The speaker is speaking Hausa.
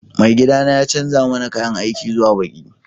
Maigiɗana ya canza mana ƙayan aiki zuwa ɓaƙi